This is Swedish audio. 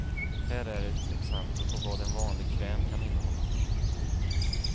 Här är ett exempel på vad en vanlig kräm kan innehålla.